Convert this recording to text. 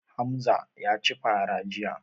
Hamza ya ci fara jiya.